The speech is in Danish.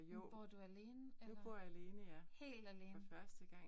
Men bor du alene? Helt alene?